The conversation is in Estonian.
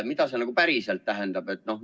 Mida see päriselt tähendab?